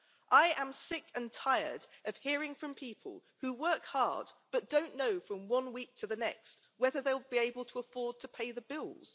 I am sick and tired of hearing from people who work hard, but don't know from one week to the next, whether they will be able to afford to pay the bills.